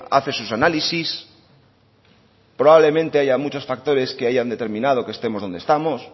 hace sus análisis probablemente haya muchos factores que hayan determinado que estemos donde estamos